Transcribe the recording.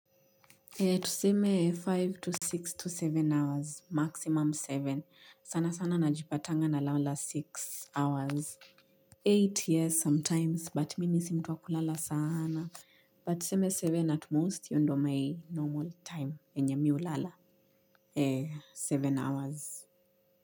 Tuseme tano to sita to saba hours, maximum saba. Sana sana najipatanga nalala sita hours. nane yes sometimes, but mimi si mtu wa kulala saana. But tuseme saba at most io ndo my normal time yenye mi ulala. saba hours.